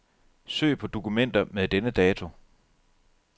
Søg på dokumenter med denne dato.